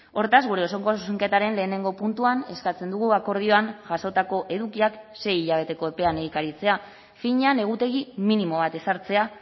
hortaz gure osoko zuzenketaren lehenengo puntuan eskatzen dugu akordioan jasotako edukiak sei hilabeteko epean egikaritzea finean egutegi minimo bat ezartzea